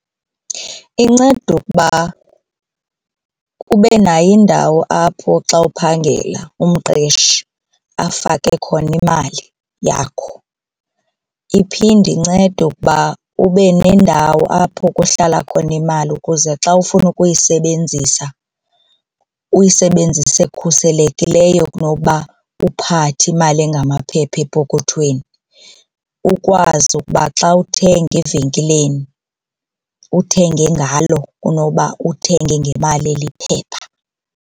Inceda ukuba ube nayo indawo apho xa uphangela umqeshi afake khona imali yakho. Iphinde incede ukuba ube nendawo apho kuhlala khona imali ukuze xa ufuna ukuyisebenzisa uyisebenzise khuselekileyo kunoba uphathe imali engamaphepha epokothweni, ukwazi ukuba xa uthenga evenkileni uthenge ngalo kunoba uthenge ngemali eliphepha.